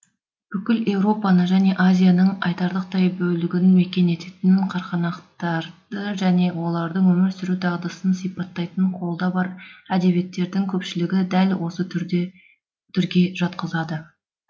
бүкіл еуропаны және азияның айтарлықтай бөлігін мекен ететін қарқанақтарды және олардың өмір сүру дағдысын сипаттайтын қолда бар әдебиеттердің көпшілігі дәл осы түрге жатқызады